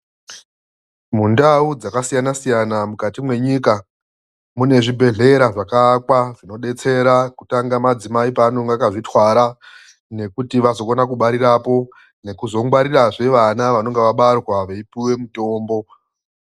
Mundawu dzakasiyana siyana mukati mwenyika mune zvibhehlera zvakaakwa ,zvinodetsera kutanga madzimai paanonga akadzitwara nekuti vazokone kubarirapo, nekuzongwarirazve vana vanenge vabarwa veipuwe mitombo.